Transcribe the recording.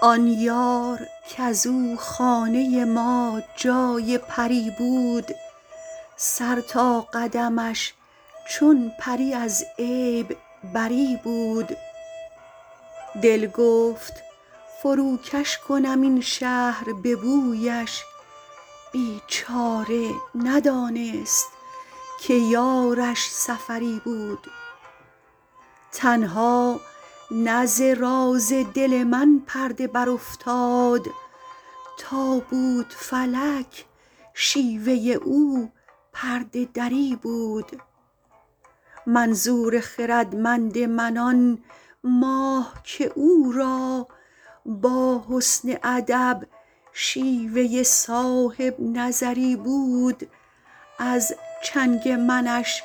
آن یار کز او خانه ما جای پری بود سر تا قدمش چون پری از عیب بری بود دل گفت فروکش کنم این شهر به بویش بیچاره ندانست که یارش سفری بود تنها نه ز راز دل من پرده برافتاد تا بود فلک شیوه او پرده دری بود منظور خردمند من آن ماه که او را با حسن ادب شیوه صاحب نظری بود از چنگ منش